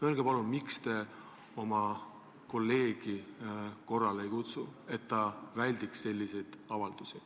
Öelge palun, miks te oma kolleegi korrale ei kutsu, et ta ei teeks selliseid avaldusi.